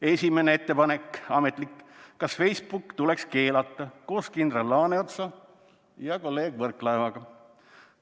Esimene ettepanek, ametlik: "Kas Facebook tuleks keelata?", koos kindral Laaneotsa ja kolleeg Võrklaevaga.